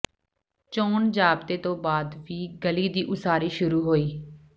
ਚੋਣ ਜ਼ਾਬਤੇ ਤੋਂ ਬਾਅਦ ਵੀ ਗਲੀ ਦੀ ਉਸਾਰੀ ਸ਼ੁਰੂ ਹੋਈ